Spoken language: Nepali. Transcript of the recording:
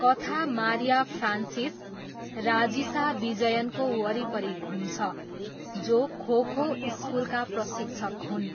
कथा मारिया फ्रान्सिस, राजिसा विजयनको वरिपरि घुम्छ जो खोखो स्कुलका प्रशिक्षक हुन्।